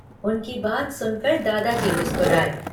उनकी बात सुनकर दादाजी मुसकराए।